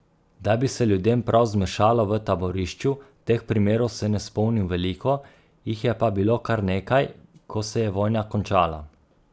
Da bi se ljudem prav zmešalo v taborišču, teh primerov se ne spomnim veliko, jih je pa bilo kar nekaj, ko se je vojna končala.